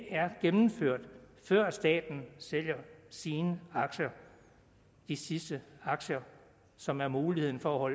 er gennemført før staten sælger sine aktier de sidste aktier som er muligheden for